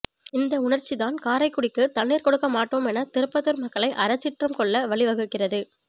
இந்த உணர்ச்சிதான் காரைக்குடிக்கு தண்ணீர் கொடுக்க மாட்டோம் என திருப்பத்தூர் மக்கள் அறச்சீற்றம் கொள்ள வழி வகுக்கிரது